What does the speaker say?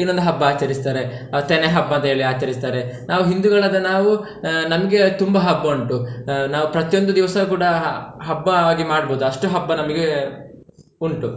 ಇನ್ನೊಂದು ಹಬ್ಬ ಆಚರಿಸ್ತಾರೆ ಅ ತೆನೆ ಹಬ್ಬ ಅಂತ ಹೇಳಿ ಆಚರಿಸ್ತಾರೆ, ನಾವು ಹಿಂದುಗಳಾದ ನಾವು ಆಹ್ ನಮ್ಗೆ ತುಂಬಾ ಹಬ್ಬ ಉಂಟು ಆಹ್ ನಾವು ಪ್ರತಿಯೊಂದು ದಿವಸ ಕೂಡ ಹಬ್ಬವಾಗಿ ಮಾಡ್ಬೋದು ಅಷ್ಟು ಹಬ್ಬ ನಮಿಗೆ ಉಂಟು,